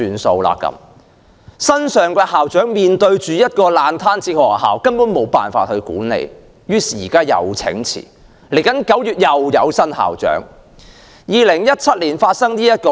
新上任的校長面對一間爛攤子學校，根本無法管理，於是請辭，另一位新校長9月份便會上任。